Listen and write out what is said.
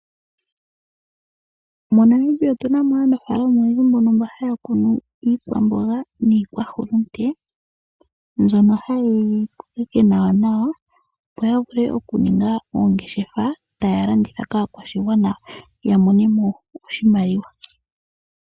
MoNamibia otuna mo aanafaalama oyendji mbono mba haya kunu iikwamboga niikwahulute, mbyono hayeyi kokeke nawanawa opo ya vule oku ninga oongeshefa taya landitha kaakwashigwana ya mone mo oshimaliwa.